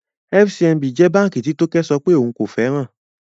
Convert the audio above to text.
FCMB is a bank that Toke said she does not like